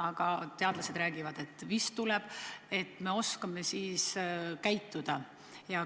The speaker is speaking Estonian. aga teadlaste sõnul vist tuleb –, nii et me oskaksime siis käituda?